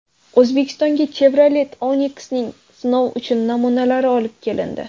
O‘zbekistonga Chevrolet Onix’ning sinov uchun namunalari olib kelindi.